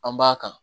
An b'a kan